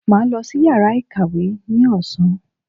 Màá lọ sí yàrá ìkàwé ní ọ̀sán.